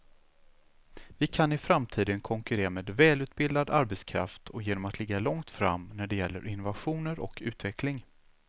Vi kan i framtiden konkurrera med välutbildad arbetskraft och genom att ligga långt fram när det gäller innovationer och utveckling.